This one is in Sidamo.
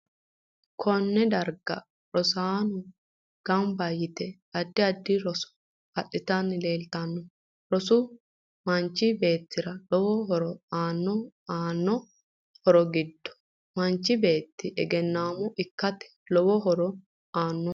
Koner darga rosaano ganba yite addi addi roso aditani leeltanno rosu manchi beetera lowo horo aanno aano horo giddono manchi beeti egenaamo ikkate lowo horo aano